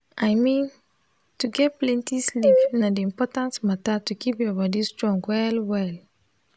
i mean to get plenty sleep na the important matter to keep your body strong well well